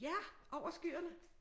Ja over skyerne